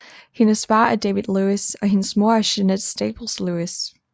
Hendes far er David Lewis og hendes mor er Jeannette Staples Lewis